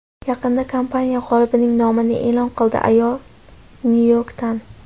Yaqinda kompaniya g‘olibning nomini e’lon qildi, ayol Nyu-Yorkdan.